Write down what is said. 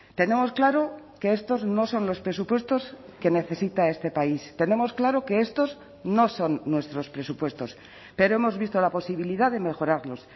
tenemos claro que estos no son los presupuestos que necesita este país tenemos claro que estos no son nuestros presupuestos pero hemos visto la posibilidad de mejorarlos